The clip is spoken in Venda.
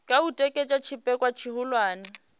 kha u tikedza tshipikwa tshihulwane